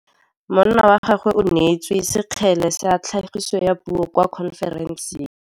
Monna wa gagwe o neetswe sekgele sa tlhagisô ya puo kwa khonferenseng.